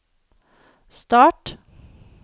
start